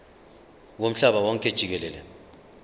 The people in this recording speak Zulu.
womhlaba wonke jikelele